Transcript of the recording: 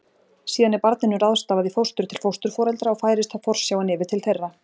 Síðan er barninu ráðstafað í fóstur til fósturforeldra og færist þá forsjáin yfir til þeirra.